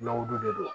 Lɔgɔ don de don